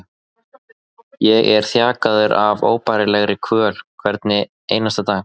Ég er þjakaður af óbærilegri kvöl hvern einasta dag.